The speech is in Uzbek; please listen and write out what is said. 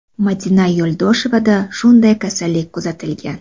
Madina Yo‘ldoshevada shunday kasallik kuzatilgan.